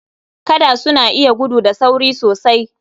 Gada suna iya gudu da sauri sosai.